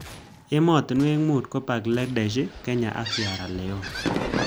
Ematinwek mut ko Bangladesh, Kenya ak sierra Leon